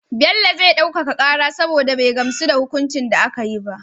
Bello zai ɗaukaka kara saboda be gamsu da hukuncin da akayi ba